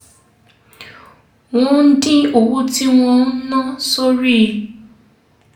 wọ́n dín owó tí wọ́n ń ná sórí